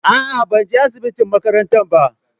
A'a, ban je asiɓitin maƙaranta ba.